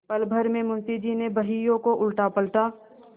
पलभर में मुंशी जी ने बहियों को उलटापलटा